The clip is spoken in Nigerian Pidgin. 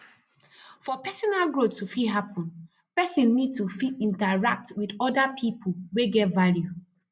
for personal growth to fit happen person need to fit interact with oda pipo wey get value